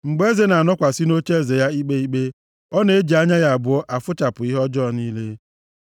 Mgbe eze na-anọkwasị nʼocheeze ya ikpe ikpe, ọ na-eji anya ya abụọ afụchapụ ihe ọjọọ niile.